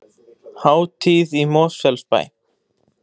Hátíð í Mosfellsbæ